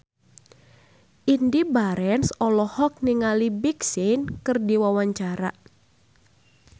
Indy Barens olohok ningali Big Sean keur diwawancara